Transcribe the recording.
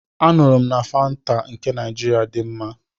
M nụrụ na Fanta nke Naịjirịa dị mma.